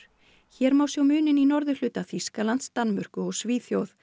hér má sjá muninn í norðurhluta Þýskalands Danmörku og Svíþjóð